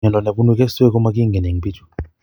Miondo nebunu keswek komagingen en bichu